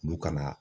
Olu kana